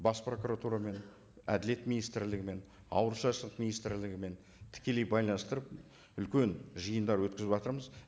бас прокуратурамен әділет министрлігімен ауыл шаруашылық министрлігімен тікелей байланыстырып үлкен жиындар өткізіватырмыз